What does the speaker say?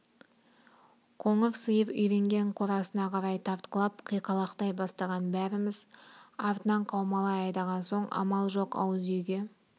қоңыр сиыр үйренген қорасына қарай тартқылап қиқалақтай бастаған бәріміз артынан қаумалай айдаған соң амал жоқ ауыз үйге